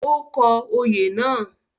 Ó kọ òye náà